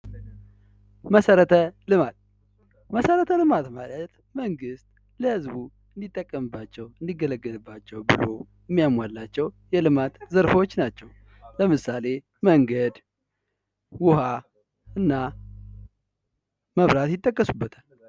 መሠረተ ልማት መሠረተ ልማት ማለት መንግስት ለህዝቡ እንዲጠቀምባቸው እንዲገለገልቸው ብሎ የሚያሟላቸው የልማት ዘርፎች ናቸው። ለምሳሌ መንገድ፣ ውሃ እናመብራት ይጠቀሱበታል።